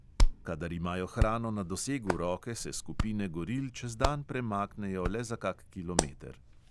Kadar imajo hrano na dosegu roke, se skupine goril čez dan premaknejo le za kak kilometer.